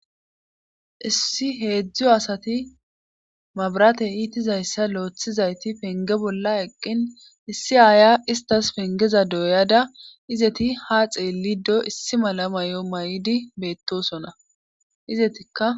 issi heedzdzu asati mabaratey iitizayssa lo'eththizayti penge bolla eqqin issi aaya istas pengeza doyada izeti ha xeellido issi mala may7o may7idi beettosona izetikka